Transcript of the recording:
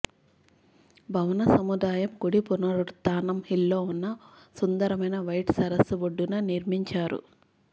భవన సముదాయము కుడి పునరుత్థానం హిల్లో ఉన్న సుందరమైన వైట్ సరస్సు ఒడ్డున నిర్మించారు